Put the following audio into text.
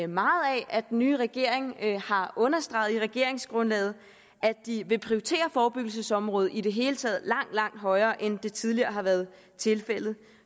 meget af at den nye regering har understreget i regeringsgrundlaget at de vil prioritere forebyggelsesområdet i det hele taget langt langt højere end det tidligere har været tilfældet